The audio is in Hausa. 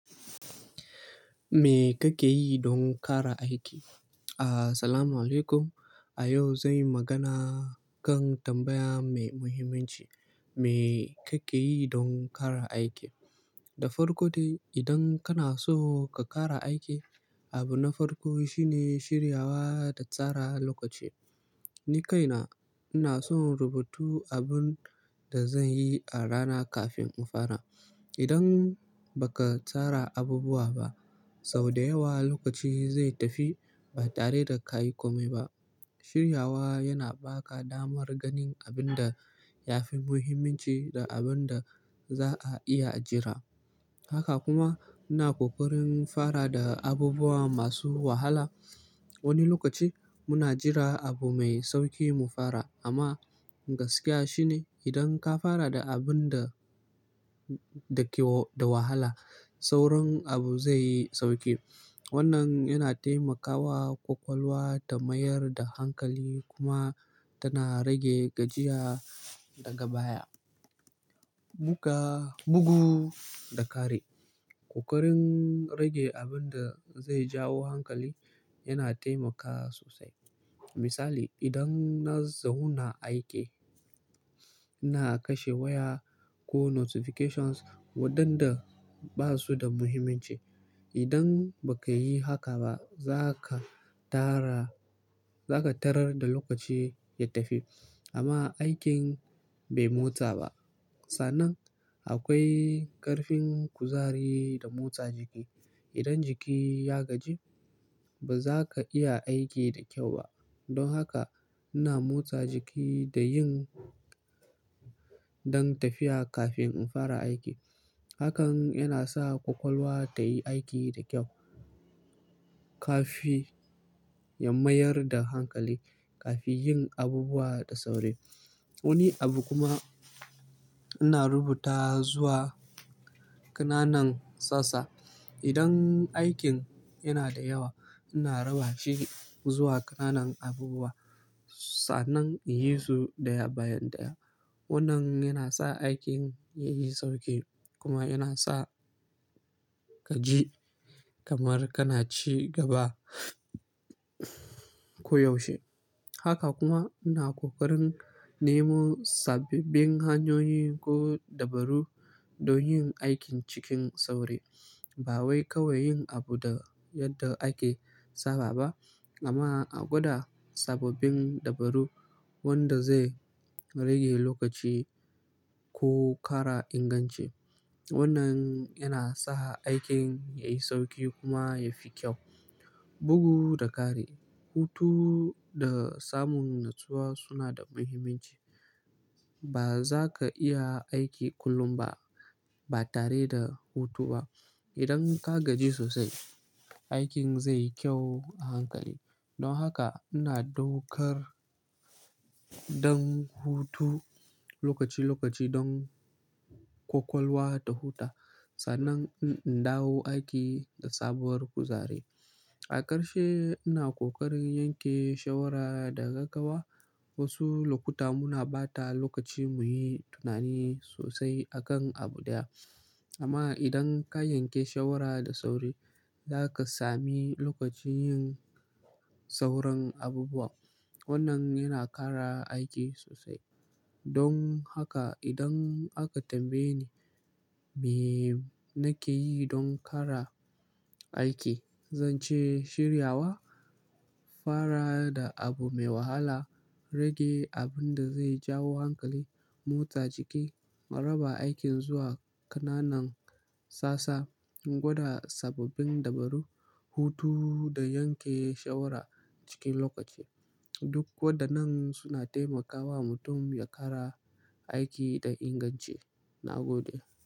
Me kake yi don ƙara aiki? Asalamu alaikum. A yau zanyi magana kan tambaya mai muhimmanci, "Me kake yi don ƙara aiki?" Da farko dai, idan kana so ka ƙara aiki, abu na farko shine shiryawa da tsara lokaci. Ni kaina ina so rubutu abun da zanyi a rana kafin in fara. Idan baka tsara abubuwa ba, sau da yawa lokaci zai tafi ba tare da ka yi komai ba. Shiryawa yana ba ka damar ganin abin da yafi muhimmanci da abin da za'a iya jira. Haka kuma ina ƙoƙarin fara da abubuwan masu wahala wani lokaci muna jira abu me sauki ne gaskiya shine idan ka fara da abun da, da ke da wahala, sauran abu zai yi sauƙi. Wannan yana taimakawa ƙwaƙwalwa ta mayar da hankali kuma tana rage gajiya daga baya. Muga-- mugu da kare. Ƙoƙarin rage abun da zai jawo hankali yana taimaka sosai. Misali, idan na zauna m aiki, ina kashe waya ko notifications waɗanda ba su da muhimmanci. Idan ba ka yi haka ba, za ka tara, za ka tarar da lokaci ya tafi amma aikin bai motsa ba. Sannan, akwai ƙarfin kuzari da motsa jiki. Idan jiki ya gaji, ba za ka iya aiki da kyau ba. Don haka, ina motsa jiki da yin ɗan tafiya kafin in fara aiki. Hakan yana sa ƙwaƙwalwa ta yi aiki da kyau kafin ya mayar da hankali, kafin yin abubuwa da sauri. Wani abu kuma ina rubuta zuwa ƙananan sassa. Idan aikin yana da yawa, ina raba shi zuwa ƙananan abubuwa sa'anan in yi su ɗaya bayan ɗaya. Wannan yana sa aikin yayi sauki kuma yana sa ka ji kamar kana ci gaba koyaushe. Haka kuma, ina ƙoƙarin nemo sababbin hanyoyi ko dabaru don yin aikin cikin sauri. Ba wai kawai yin abu da yadda ake saba ba amma a gwada sababbin dabaru wanda zai rage lokaci ko ƙara inganci. Wannan yana sa aikin yayi sauki kuma yafi kyau. Bugu da kare. Hutu da samun natsuwa suna da muhimmanci. Ba za ka iya aiki kullum ba, ba tare da hutu ba. Idan ka gaji sosai, aikin zai yi kyau a hankali. Don haka, ina daukar don hutu lokaci-lokaci don ƙwaƙwalwa ta huta sannan in dawo aiki da sabuwar kuzari. A ƙarshe, ina ƙoƙarin yanke shawara daga gawa. Wasu lokuta muna ɓata lokaci muyi tunani sosai a kan abu ɗaya amma idan ka yanke shawara da sauri, za ka sami lokacin yin sauran abubuwa. Wannan yana ƙara aiki sosai. Don haka, idan aka tambaye ni me nake yi don ƙara aiki, zance shiryawa, fara da abu mai wahala, rage abun da zai jawo hankali, motsa jiki, raba aikin zuwa ƙananan sassa, gwada sababbin dabaru, hutu da yanke shawara cikin lokaci. Duk waɗannan suna taimakawa mutum ya ƙara aiki da inganci. Na gode.